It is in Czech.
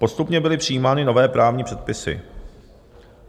Postupně byly přijímány nové právní předpisy.